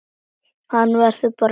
Hann verður bara að liggja.